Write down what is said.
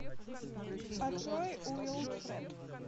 открой уилфред